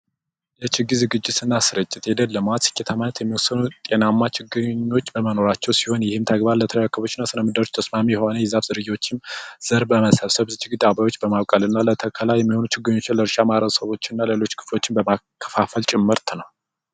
ጤናማ ችግኝኖች በመኖራቸው ሲሆን ይህን ተግባር ለምድር ተስማሚ የሆነ ዘር በመሰብሰባ የሚሆኑ ችግር የለውም ሰዎች እና ሌሎችም ጭምር